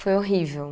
Foi horrível.